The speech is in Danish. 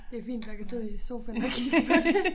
Det fint nok at sidde i sofaen og kigge på det